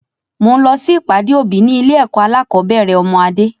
Mo ń lọ si ìpàdé òbí ni ilé ẹ̀kọ́ alakọ̀bẹ́ẹ́rẹ̀ ọmọ Adé.